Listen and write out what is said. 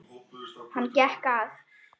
Hann gekk að